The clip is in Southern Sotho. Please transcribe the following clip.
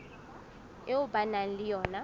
eo ba nang le yona